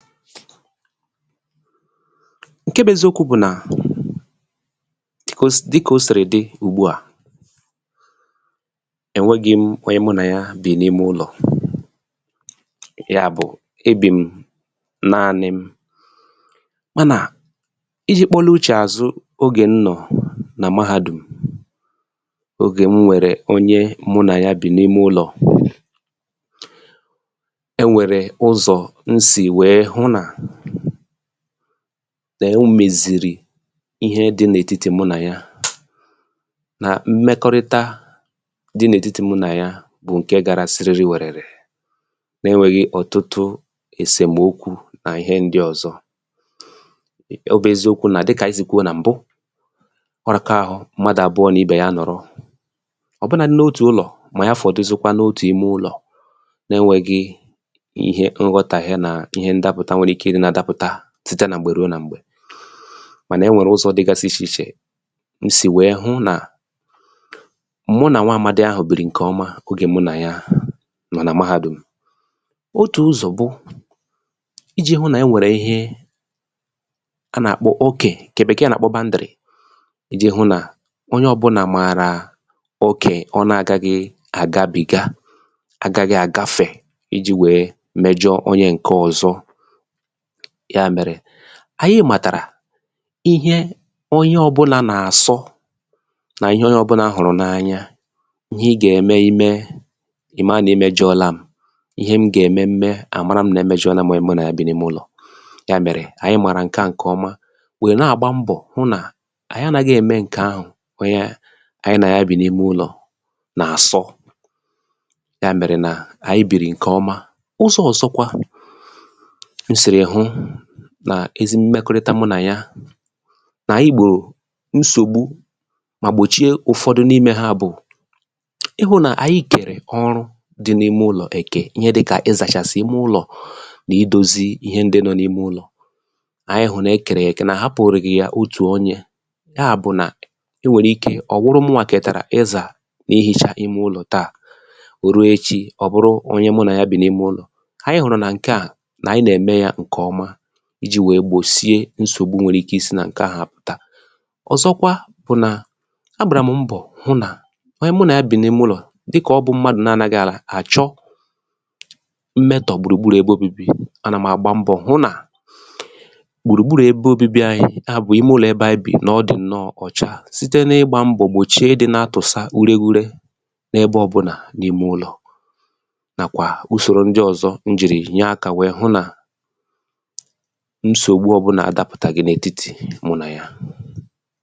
file 114 ǹke bụ eziokwū bụ̀ nà dịkà o sìrì dị ẹ̀ nwẹghịm onye mụ nà ya bì n’ime ụlọ̀ yà bụ̀ ebìm naani m mànà ijī kpọlụ uchè àzụ n’ogè m nọ̀ Mahādùm ogè m nwẹ̀rẹ onye mụ nà ya bì n’ime ulò ẹ nwẹ̀rẹ̀ ụzọ m sì wẹ̀ẹ hụ nà nà omèzìrì ihe dị n’ètitì mụ nà yà nà mmẹkọrịta dị n’ètiti mụ nà ya bụ̀ ǹkẹ gara sịrịrịwẹ̀rẹ̀rẹ̀ na ẹnwẹghị ọ̀tụtụ ẹ̀sẹ̀mokwu nà ihẹ ndị ọ̀zọ ọ bụ̄ eziokwu nà dịkà anyị sì wèɛ kwuo nà m̀bụ ọ raka arụ mmadù àbụọ n’ibè ya nọ̀rụ ọ bụnadu n’ime ụlọ̀ mà ọ̀ bụ̀ ya fọ̀duzịkwanụ n’otù ime ụlọ̀ na ẹnwẹghị ihe nghotàghie nà ihẹ ndapụ̀ta nwẹrẹ ike ịdị̄ nà àdapụ̀ta site nà m̀gbè ruo nà m̀gbè mànà e nwẹ̀rẹ̀ ụzọ̄ dịgasị ichè ichè m sì wẹ̀ẹ hụ nà mụ nà nwa amadi ahụ̀ bìrì ǹkẹ̀ ọma ogè mụ nà ya nọ̀ nà Mahādùm otù ụzọ̀ bụ ijī hụ nà ẹnwẹ̀rẹ̀ ihe a nà àkpọ okẹ̀ ndị Bẹ̀kẹ̀ẹ̀ nà àkpọ bandrị̀ ijī hụ nà onyẹ ọbụnà màrà okẹ ọ na agaghị àgabìga agaghị àgafè ijī wèe mẹjọ onye ǹke ọ̀zọ yà mẹ̀rẹ anyị màtàrà ihẹ onye ọbụnā nà àsọ nà ihe onyẹ ọbụla hụ̀rụ̀ n’anya ihẹ ị gà ẹmẹ ịmẹ ị̀ mà nà ịmẹjọla m ihẹ m gà èmẹ m mẹ àmara m̀ nà m ẹ̀mẹjọla m onye mụ nà ya bì n’ime ụlọ̀ yà mèrè anyị màrà ǹkẹ̀ à ǹkẹ̀ ọma wẹ̀ nà àgba mbọ̀ hụ nà anyị anaghị ẹ̀mẹ ǹkẹ̀ ahụ̀ onye anyị nà ya bì n’imẹ ụlọ̀ nà àsọ yà mèrè nà ànyị bìrì ǹkẹ̀ ọma ụzọ̄ ọ̀zọkwa m sìrì hụ nà ezi mmẹkọrịta mmẹkọrịta mụ nà ya nà ànyị gbò nsògbu mà gbòchie ụ̀fọdụ n’imē ha bụ̀ ịhụ̄ nà anyị kẹ̀rẹ̀ ọrụ dị n’ime ụlọ̀ ẹ̀kẹ̀ ihẹ dịkà ịzàchàsị̀ ime ụlọ̀ nà idōzi ihe ndị nọ n’ime ụlọ̀ anyị hụ̀ nà ekèrè yà èkè nà àhapụghị̀ ya otù onyē yà bụ̀ nà e nwèrè ike ọ̀ wụrụ mụnwà kètàrà izà nà ihicha ime ụlọ̀ tà oruo echī ọ̀ wụrụ onye mụ nà ya bì n’ime ụlọ̀ anyị hụ̀rụ̀ nà ǹkẹ̀ a nà anyị nà ème ya ǹkè ọma ijī wèe gbòsie nsògbu nwere ike isī nà ǹkẹ̀ahụ̀ pụta ọ̀zọkwa bụ̀ nà a gbàrà m mbọ̀ hụ nà onye mụ nà ya bì n’ime ụlọ̀ dịkà ọ bụ̄ mmadū na anaghị àchọ mmẹtọ̀ gbùrù gburù ebe obibi anà m àgba mbọ̀ hụ nà gbùrù gburù ebe obibi anyị yà bụ̀ ime ụlọ̀ ebe anyị bì nà ọ dị̀ nnọ ocha site n’ịgbā mbọ̀ gbòchie ịdị̄ na atụ̀sa ure ure n’ẹbẹ ọbụnà n’ime ụlọ̀ nàkwà usòro ndị ọ̀zọ m jị̀rị̀ nyẹ akā wẹẹ hụ nà nsògbu ọbụnà adāpụtàghị̀ n’ètitì mụ nà ya